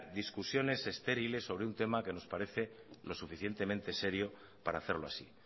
discusiones estériles sobre un tema que nos parece lo suficientemente serio para hacerlo así